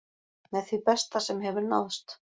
Með því besta sem hefur náðst